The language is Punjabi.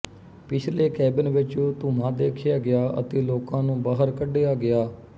ਪਿਛਲੇ ਕੈਬਿਨ ਵਿਚ ਧੂੰਆਂ ਦੇਖਿਆ ਗਿਆ ਅਤੇ ਲੋਕਾਂ ਨੂੰ ਬਾਹਰ ਕੱਢਿਆ ਗਿਆ